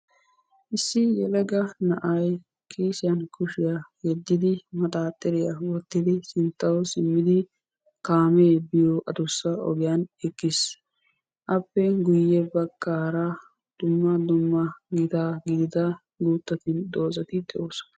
Issi yellagga na'ay kiisiyan kushshiyaa yedidi maxaxiriyaa wottidi sinttawu simiddi kaame yiyoo adussa oggiyani eqqis. Appe guye baggara dumma dumma gitta giddida guutta dozat de'ossona.